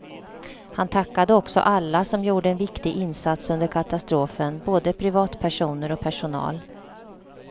Han tackade också alla som gjorde en viktig insats under katastrofen, både privatpersoner och personal.